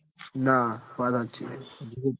ના વાત હાચી સ